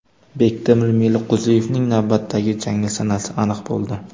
Bektemir Meliqo‘ziyevning navbatdagi jangi sanasi aniq bo‘ldi.